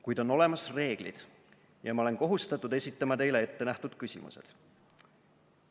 Kuid on olemas reeglid, ja ma olen kohustatud esitama teile ettenähtud küsimused.